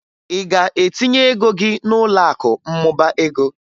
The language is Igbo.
Ị ga-etinye ego gị n'ụlọakụ mmụba ego?